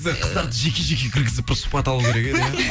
қыздарды жеке жеке кіргізіп бір сұхбат алу керек еді